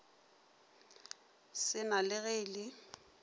sena le ge e le